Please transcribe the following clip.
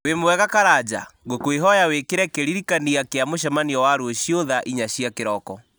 wĩ mwega karanja ngũkwĩhoya wĩkĩre kĩririkania kĩa mũcemanio wa rũciũ thaa inya cia kĩroko